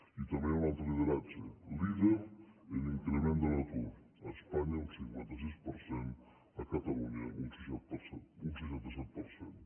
i també hi ha un altre lideratge líder en increment de l’atur a espanya un cinquanta sis per cent a catalunya un seixanta set per cent